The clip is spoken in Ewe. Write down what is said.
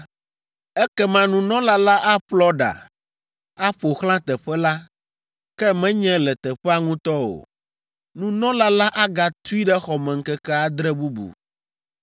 ekema nunɔla la aƒlɔ ɖa, aƒo xlã teƒe la, ke menye le teƒea ŋutɔ o. Nunɔla la agatui ɖe xɔ me ŋkeke adre bubu,